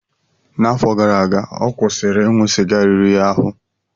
N'afọ gara aga, ọ kwụsịrị ịṅụ sịga riri ya ahụ.